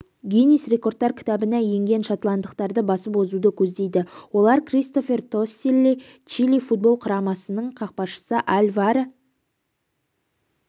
гиннес рекордтар кітабына енген шотландықтарды басып озуды көздейді олар кристофер тоселли чили футбол құрамасының қақпашысы альваро